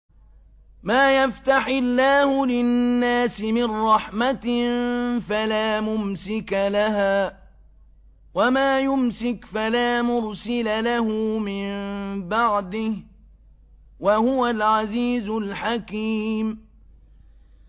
مَّا يَفْتَحِ اللَّهُ لِلنَّاسِ مِن رَّحْمَةٍ فَلَا مُمْسِكَ لَهَا ۖ وَمَا يُمْسِكْ فَلَا مُرْسِلَ لَهُ مِن بَعْدِهِ ۚ وَهُوَ الْعَزِيزُ الْحَكِيمُ